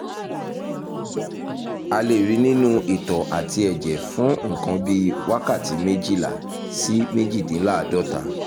a lè rí i nínú itọ́ àti ẹ̀jẹ̀ fún nǹkan bí wákàtí méjìlá sí méjìdínláàádọ́ta